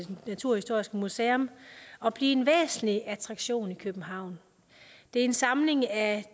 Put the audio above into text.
naturhistoriske museum og blive en væsentlig attraktion i københavn det er en samling af